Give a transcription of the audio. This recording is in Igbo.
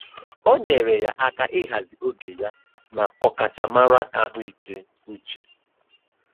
O nyeere ya aka ịhazi oge ya na ọkachamara ahụike uche.